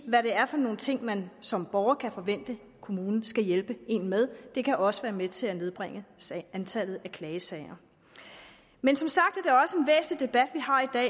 hvad det er for nogle ting man som borger kan forvente at kommunen skal hjælpe en med det kan også være med til at nedbringe antallet af klagesager men som sagt